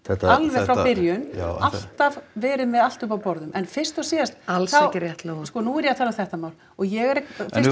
alveg frá byrjun alltaf verið með allt uppi á borðum en fyrst og síðast þá alls ekki rétt Lóa sko nú er ég að tala um þetta mál og ég er